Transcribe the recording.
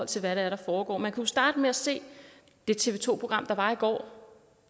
til hvad det er der foregår man kunne jo starte med at se det tv to program der var i går